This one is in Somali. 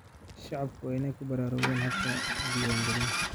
Shacabku waa in ay ku baraarugaan habka diwaan galinta.